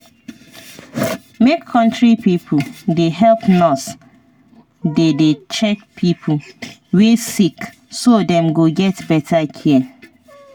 make country pipo dey help nurse dey dey check pipo wey sick so dem go get better care